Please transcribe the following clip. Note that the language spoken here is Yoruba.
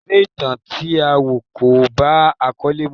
Eré ìtàn tí a wọ̀ kò bá àkọ́lé mu.